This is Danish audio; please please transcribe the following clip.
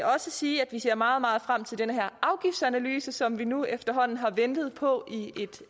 også sige at vi ser meget meget frem til den her afgiftsanalyse som vi nu efterhånden har ventet på i